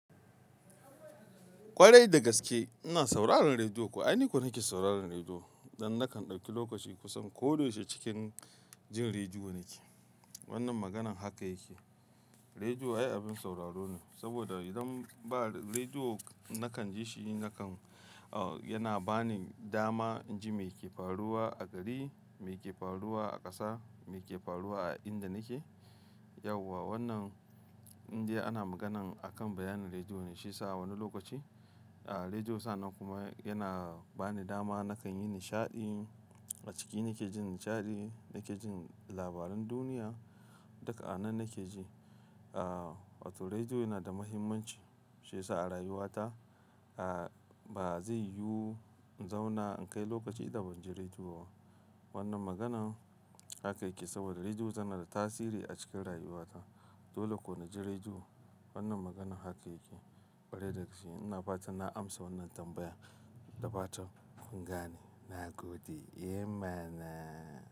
Ƙwarai dagaske ina sauraron rediyo. Ko aini kam nake sauraron rediyo, dan nakan dauki lokaci kusan koda yaushe cikin jin rediyo nake. Wannan maganan haka yake, rediyo ai abin sauraro ne, saboda idan ba rediyo nakan ji shi nakan, ah yana bani dama in ji me ke faruwa a gari, me ke faruwa a ƙasa, me ke faruwa a inda nake. Yau wa wannan indiya ana maganan akan bayanan rediyo ne, shiyasa wani lokaci, ah rediyo sannan kuma yana bani dama nakan yi nishaɗi. A ciki nake jin nishaɗi, nake jin labaran duniya, duka a nan nake ji. Ah wato rediyo yana da muhimmanci, shi yasa a rayuwata, ah ba zai yu in zauna in kai lokaci idan ban ji rediyo ba. Wannan maganan haka yake, saboda rediyo tana da tasiri a cikin rayuwata. Dole ko naji rediyo. Wannan maganan haka yake. Ƙwarai dagaske ina fatan na amsa wannan tambayan. Da fatan kun gane. Na gode. Eh mana.